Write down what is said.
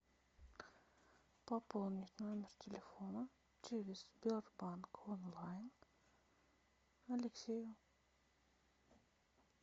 пополнить номер телефона через сбербанк онлайн алексею